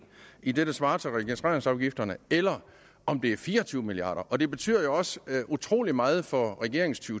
i det der svarer til registreringsafgifterne eller om det er fire og tyve milliard kroner det betyder jo også utrolig meget for regeringens to